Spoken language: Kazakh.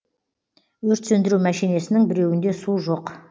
өрт сөндіру мәшинесінің біреуінде су жоқ